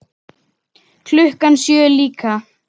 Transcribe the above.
Klukkan sjö líka.